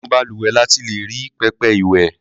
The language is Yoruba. Inú balùwẹ̀ la ti lè rí pẹpẹ ìwẹ̀.